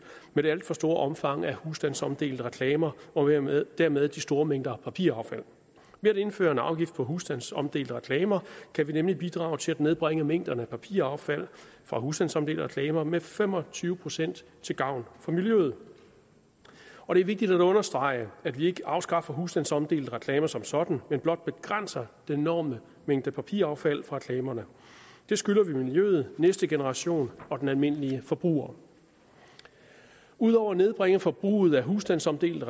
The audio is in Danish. med det alt for store omfang af husstandsomdelte reklamer og dermed dermed de store mængder papiraffald ved at indføre en afgift på husstandsomdelte reklamer kan vi nemlig bidrage til at nedbringe mængden af papiraffald fra husstandsomdelte reklamer med fem og tyve procent til gavn for miljøet og det er vigtigt at understrege at vi ikke afskaffer husstandsomdelte reklamer som sådan men blot begrænser den enorme mængde papiraffald fra reklamerne det skylder vi miljøet næste generation og den almindelige forbruger ud over at nedbringe forbruget af husstandsomdelte